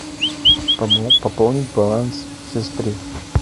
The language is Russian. пополнить баланс сестре